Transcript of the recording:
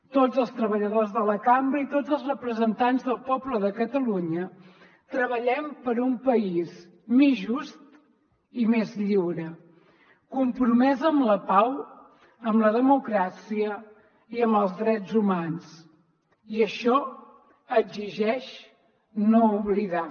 tots els treballadors de la cambra i tots els representants del poble de catalunya treballem per un país més just i més lliure compromès amb la pau amb la democràcia i amb els drets humans i això exigeix no oblidar